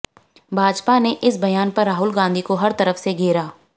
भाजपा ने इस बयान पर राहुल गांधी को हर तरफ से घेरा